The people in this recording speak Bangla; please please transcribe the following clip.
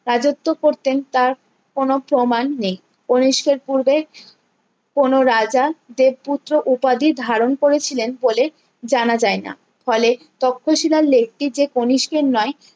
রাজ্যত্ব করতেন তার কোনো প্রমাণ নেই কণিষ্কের পূর্বে কোনো রাজা দেব পুত্র উপাধি ধারণ করেছিলেন বলে জানা যায় না ফলে তক্ষশীলার lake টি যে কণিষ্কের নয়